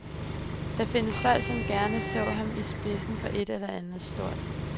Der findes folk, som gerne så ham i spidsen for et eller andet stort.